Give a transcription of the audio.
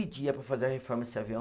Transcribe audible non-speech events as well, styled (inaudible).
(unintelligible) para fazer a reforma desse avião.